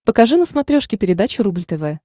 покажи на смотрешке передачу рубль тв